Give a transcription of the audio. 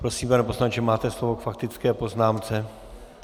Prosím, pane poslanče, máte slovo k faktické poznámce.